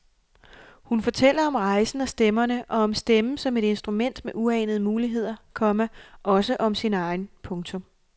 Hun fortæller om rejsen og stemmerne og om stemmen som et instrument med uanede muligheder, komma også om sin egen. punktum